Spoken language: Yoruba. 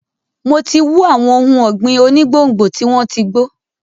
Mo ti wú àwọn ohun ọ̀gbìn onígbòǹgbò tí wọ́n ti gbó.